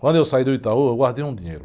Quando eu saí do Itaú, eu guardei um dinheiro.